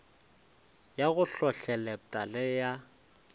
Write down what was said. ya go hlohleletpa le ya